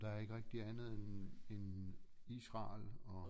Der er ikke rigtig andet end end Israel og